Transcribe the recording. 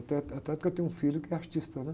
Até, até porque eu tenho um filho que é artista, né?